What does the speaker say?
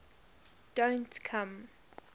don t come